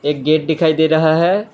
Gate दिखाई दे रहा है।